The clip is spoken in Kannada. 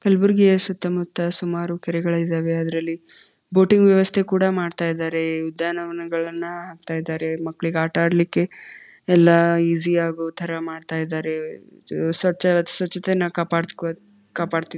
ಕಲ್ಬುರ್ಗಿಯ ಸುತ್ತ ಮುತ್ತ ಸುಮಾರು ಕೆರೆಗಳು ಇದ್ದವೇ ಅದ್ರಲ್ಲಿ ಬೋಟಿಂಗ್ ವ್ಯವಸ್ಥೆ ಕೂಡ ಮಾಡ್ತಾ ಇದ್ದಾರೆ ಉದ್ಯಾನವನಗಳನ್ನಹಾಕ್ತ ಇದ್ದಾರೆ ಮಕ್ಕಳಿಗೆ ಆಟ ಆಡ್ಲಿಕ್ಕೆ ಈಜಿ ಆಗೋ ತರ ಮಾಡ್ತಾ ಇದ್ದಾರೆ ಸ್ವಚ್ ಸ್ವಚ್ಛತೆಯನ್ನ ಕಾಪಾಡ್ ಕಾಪಾಡ್ --